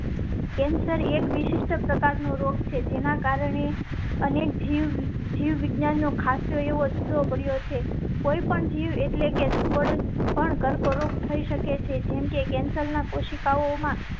cancer એક વિશિષ્ટ પ્રકાર નો રોગ છે જેના કારણે અને ઝી વિદ્યા નો ખાસ્સો એવો જુદો પડ્યો છે. કોઈ પણ જીવ. કર્કરોગ થઈ શકે છે. જેમ કે કેન્સર ના કોશિકાઓ માં